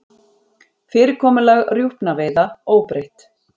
Fyrirkomulag rjúpnaveiða óbreytt